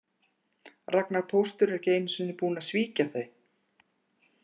Ragnar póstur er ekki einu sinni búinn að svíkja þau